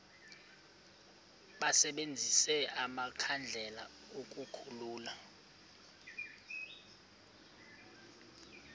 basebenzise amakhandlela ukukhulula